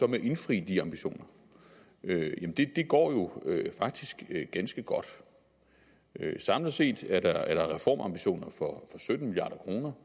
med at indfri de ambitioner jamen det går jo faktisk ganske godt samlet set er der reformambitioner for sytten milliard kroner